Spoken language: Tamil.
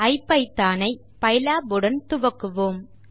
ஐபிதான் ஐ பைலாப் உடன் துவக்குவோம்